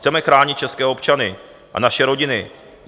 Chceme chránit české občany a naše rodiny.